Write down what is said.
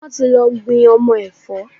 Wọ́n ti lọ gbin ọmọ ẹ̀fọ́.